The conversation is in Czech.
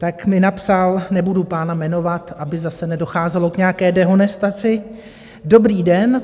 Tak mi napsal - nebudu pána jmenovat, aby zase nedocházelo k nějaké dehonestaci: "Dobrý den.